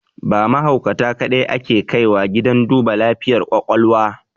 Ba mahaukata kaɗai ake kaiwa gidan duba lafiyar ƙwaƙwalwa